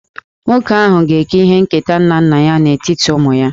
Nwoke ahụ ga-eke ihe nketa nke nna nna ya n'etiti ụmụ ya